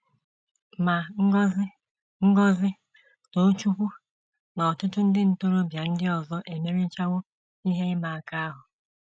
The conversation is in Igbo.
Ma, Ngozi, Ngozi, Tochukwu, na ọtụtụ ndị ntorobịa ndị ọzọ emerichawo ihe ịma aka ahụ.